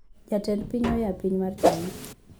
jatend piny oyaapiny mar china